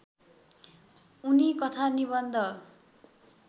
उनी कथा निबन्ध